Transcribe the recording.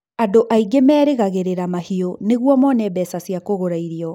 andũ aingĩ merĩgagĩrĩra mahiũ niguo mone beca cia kũgũra irio